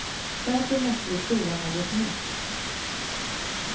Därför måste vi prova något nytt.